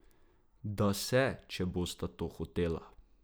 Da se, če bosta to hotela.